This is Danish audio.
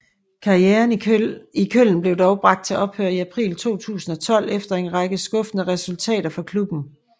Karrieren i Köln blev dog bragt til ophør i april 2012 efter en række skuffende resultater for klubben